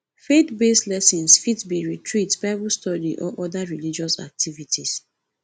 faith based lessons fit be retreat bible study or oda religious activities